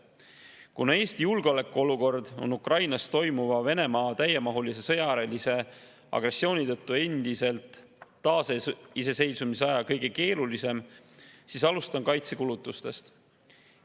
Kuna Eesti julgeolekuolukord on Ukrainas toimuva Venemaa täiemahulise sõjalise agressiooni tõttu endiselt taasiseseisvusaja kõige keerulisem, siis alustan kaitsekulutustest.